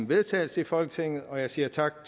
vedtagelse i folketinget og jeg siger tak